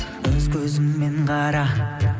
өз көзіңмен қара